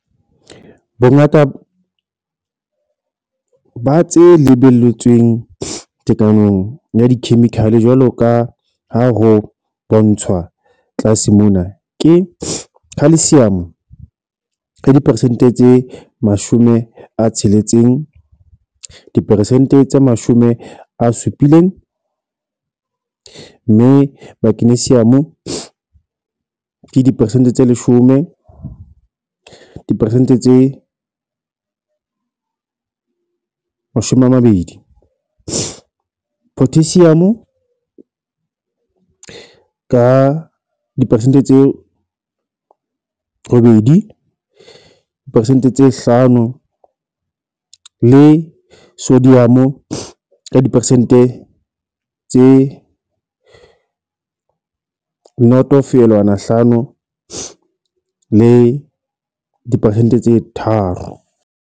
Bongata ba tse lebelletsweng tekanong ya cation jwalo ka ha ho bontshwa tlase mona ke Ca- diperesente tse 60 diperesente tse 70, Mg- diperesente tse 10 diperesente tse 20, K- diperesente tse 2 diperesente tse 5 le Na- ka diperesente tse 0,5 le diperesente tse 3.